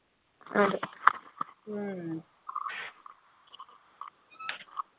അതെ